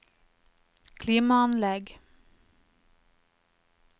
klimaanlegg